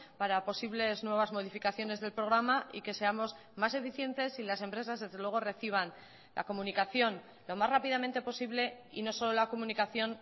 para posibles nuevas modificaciones del programa y que seamos más eficientes y las empresas desde luego reciban la comunicación lo más rápidamente posible y no solo la comunicación